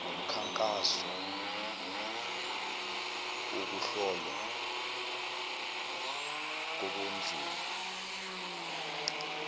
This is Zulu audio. ngomkhankaso wokuhlolwa kobunzulu